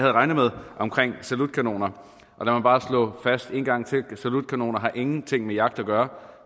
regnet med om salutkanoner og lad mig bare en gang til at salutkanoner ingenting har med jagt at gøre